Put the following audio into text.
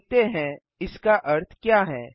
देखते हैं इसका अर्थ क्या है